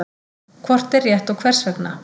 Hvort er rétt og hvers vegna?